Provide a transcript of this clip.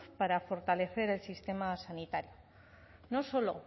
para fortalecer el sistema sanitario no solo